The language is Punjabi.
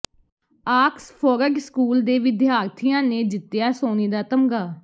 ਆਕਸਫੋਰਡ ਸਕੂਲ ਦੇ ਵਿਦਿਆਰਥੀਆਂ ਨੇ ਜਿੱਤਿਆ ਸੋਨੇ ਦਾ ਤਮਗਾ